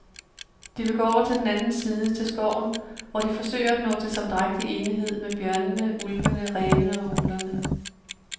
De vil gå over til den anden side, til skoven, hvor de forsøger at nå til samdrægtig enighed med bjørnene, ulvene, rævene og uglerne.